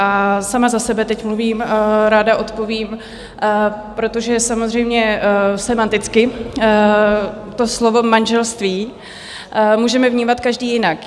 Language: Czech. A sama za sebe teď mluvím, ráda odpovím, protože samozřejmě sémanticky to slovo manželství můžeme vnímat každý jinak.